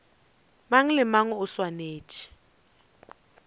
mang le mang o swanetše